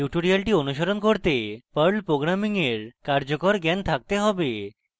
tutorial অনুসরণ করতে perl programming এর কার্যকর জ্ঞান থাকতে have